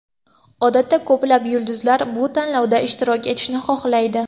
Odatda ko‘plab yulduzlar bu tanlovda ishtirok etishni xohlaydi.